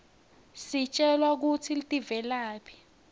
sitjelwa kutsi tivelaphi